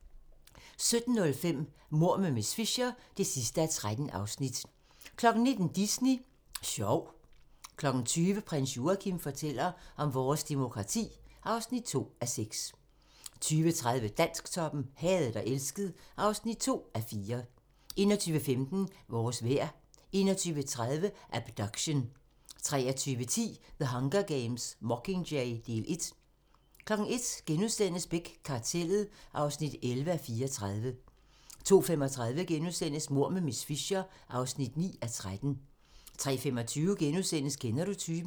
17:05: Mord med miss Fisher (13:13) 19:00: Disney Sjov 20:00: Prins Joachim fortæller om vores demokrati (2:6) 20:30: Dansktoppen: Hadet og elsket (2:4) 21:15: Vores vejr 21:30: Abduction 23:10: The Hunger Games: Mockingjay - del 1 01:00: Beck: Kartellet (11:34)* 02:35: Mord med miss Fisher (9:13)* 03:25: Kender du typen? *